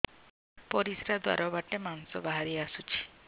ପରିଶ୍ରା ଦ୍ୱାର ବାଟେ ମାଂସ ବାହାରି ଆସୁଛି